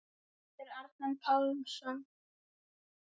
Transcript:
eftir Arnar Pálsson